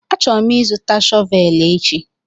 Achọrọ m ịzụta shọvel echi